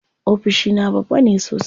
Ofishina babba ne sosai.